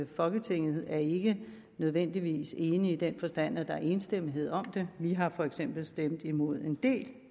folketinget ikke nødvendigvis er enig i den forstand at der er enstemmighed om det vi har for eksempel stemt imod en del